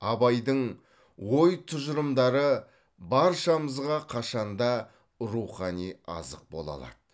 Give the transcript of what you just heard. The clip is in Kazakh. абайдың ой тұжырымдары баршамызға қашанда рухани азық бола алады